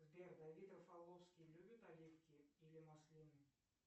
сбер давид рафаловский любит оливки или маслины